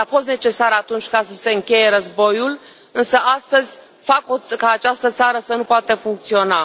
Poate a fost necesar atunci ca să se încheie războiul, însă astăzi fac ca această țară să nu poată funcționa.